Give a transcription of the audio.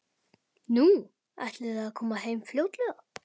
Nú, ætlið þið að koma heim fljótlega?